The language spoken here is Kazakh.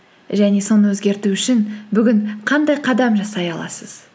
және соны өзгерту үшін бүгін қандай қадам жасай аласыз